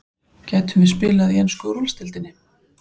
Gætum við spila í ensku úrvalsdeildinni?